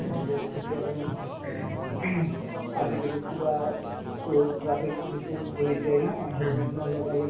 সন্ধিয়াৰ সময়ত ing আজিকালি কিবা উম tro~ traffic police ও বহি যায় না helmet নলগালে